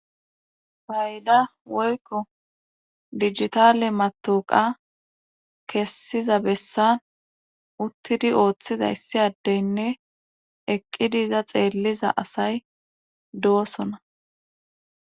Bayda woykko digitale matoqa kessiza bessan uttidi ooththizayssiyadeynne eqqidiiza xeelliza asay do'osona.